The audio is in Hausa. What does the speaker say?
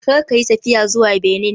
Kar ka yi tafiya zuwa Benin!